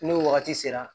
N'o wagati sera